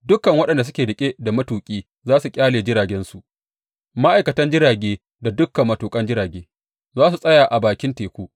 Dukan waɗanda suke riƙe da matuƙi za su ƙyale jiragensu; ma’aikatan jirage da dukan matuƙan jirage za su tsaya a bakin teku.